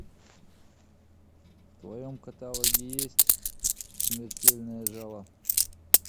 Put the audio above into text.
в твоем каталоге есть смертельное жало